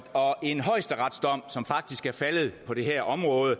og en højesteretsdom som faktisk er faldet på det her område